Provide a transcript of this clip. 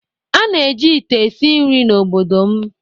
a na-eji ite esi nri n'obodo m